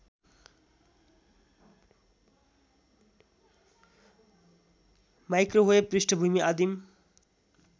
microwave पृष्ठभूमि आदिम